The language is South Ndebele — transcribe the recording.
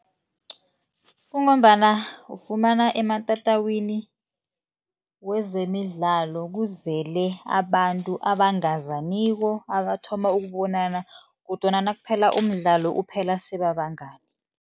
Kungombana ufumana ematatawini wezemidlalo kuzele abantu abangazaniko, abathoma ukubonana kodwana nakuphela umdlalo uphela sebabangani.